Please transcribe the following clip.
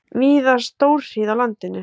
Víða stórhríð á landinu